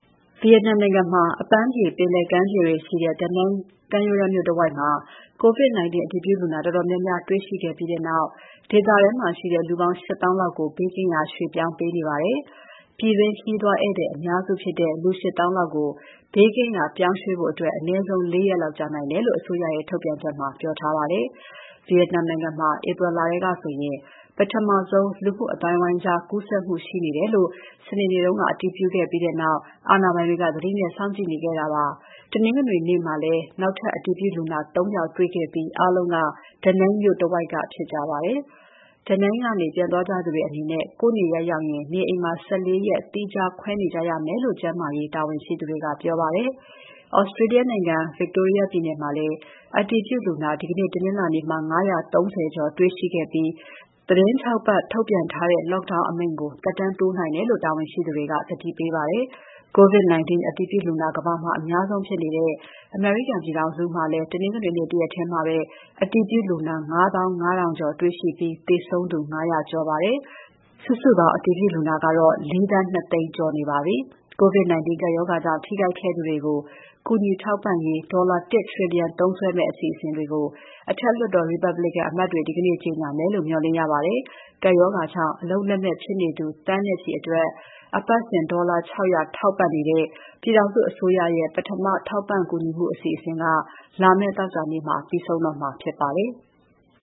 ဗီယက်နမ်နိုင်ငံမှာ အပန်းဖြေ ပင်လယ်ကမ်းခြေတွေရှိတဲ့ Da Nang ကမ်းရိုးတမ်းမြို့တဝိုက် COVID-19 အတည်ပြုလူနာတော်တော်များများ တွေ့ရှိခဲ့ပြီးနောက် ဒေသထဲမှာရှိတဲ့ လူပေါင်း ၈၀,၀၀၀ လောက်ကို ဘေးကင်းရာ ရွှေ့ပြောင်းပေးနေပါတယ်။ ပြည်တွင်းခရီးသွားဧည့်သည်အများစုဖြစ်တဲ့ လူ ၈၀,၀၀၀ လောက်ကို ဘေးကင်းရာ ပြောင်းရွှေ့ဖို့ အနည်းဆုံး ၄ ရက်လောက်ကြာနိုင်တယ်လို့ အစိုးရရဲ့ ထုတ်ပြန်ချက်ထဲမှာ ပြောထားပါတယ်။ ဗီယက်နမ်နိုင်ငံမှာ April လထဲကဆိုရင် ပထမဆုံး လူမှုအသိုင်းအဝိုင်းကြား ကူးစက်မှုရှိတယ်လို့ စနေနေ့က အတည်ပြုခဲ့ပြီးနောက် အာဏာပိုင်တွေက သတိနဲ့စောင့်ကြည့်ခဲ့ကြတာပါ။ တနင်္ဂနွေနေ့မှာလည်း နောက်ထပ် အတည်ပြုလူနာ ၃ ယောက်တွေ့ခဲ့ပြီး အားလုံးက Danang မြို့တဝိုက်က ဖြစ်ကြပါတယ်။ Da Nang ကနေပြန်သွားကြသူတွေအနေနဲ့ ကိုယ့်နေရပ်ပြန်ရောက်ရင် နေအိမ်မှာ ၁၄ ရက် သီးခြားခွဲနေကြရမယ်လို့ ကျန်းမာရေးတာဝန်ရှိသူတွေက ပြောပါတယ်။ Australia နိုင်ငံ Victoria ပြည်နယ်မှာလည်း အတည်ပြုလူနာ ဒီနေ့တနင်္လာနေ့မှာ ၅၃၀ ကျော်တွေ့ရှိခဲ့ပြီး သီတင်း ၆ ပတ်ထုတ်ပြန်ထားတဲ့ Lockdown အမိန့်ကို သက်တမ်းတိုးနိုင်တယ်လို့ တာဝန်ရှိသူတွေက သတိပေးပါတယ်။ COVID-19 အတည်ပြုလူနာ ကမ္ဘာမှာ အများဆုံးဖြစ်နေတဲ့ အမေရိကန်ပြည်ထောင်စုမှာလည်း တနင်္ဂနွေနေ့တရက်ထဲ အတည်ပြုလူနာ ၅၅,၀၀၀ ကျော်တွေ့ရှိပြီး သေဆုံးသူ ၅၀၀ ကျော်ပါတယ်။ စုစုပေါင်း အတည်ပြုလူနာကတော့ ၄,၂၀၀,၀၀၀ ကျော်နေပါပြီ။ COVID-19 ကပ်ရောဂါကြောင့်ထိခိုက်ခဲ့သူတွေကို ကူညီထောက်ပံ့ရေး ဒေါ်လာ ၁ ထရီလီယံ သုံးစွဲမယ့် အစီအစဉ်တွေကို အထက်လွှတ်တော် Republican အမတ်တွေ ဒီနေ့ကြေညာမယ်လို့ မေ ျှာ်လင့်ရပါတယ်။ ကပ်ရောဂါကြောင့် အလုပ်လက်မဲ့ဖြစ်နေသူသန်းနဲ့ချီအတွက် အပတ်စဉ် ဒေါ်လာ ၆၀၀ ထောက်ပံနေတဲ့ ပြည်ထောင်စုအစိုးရရဲ့ ပထမထောက်ပံ့မှုအစီအစဉ်က လာမယ့်သောကြာနေ့ ပြီးဆုံးတော့မှာဖြစ်ပါတယ်။